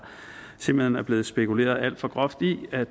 simpelt hen er blevet spekuleret alt for groft i at